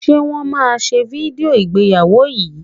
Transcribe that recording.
Ṣe Wọ́n máa ṣe fídíò ìgbéyàwó yìí?